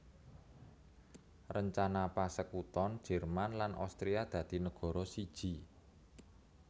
Rencana pasekuton Jerman lan Austria dadi negara siji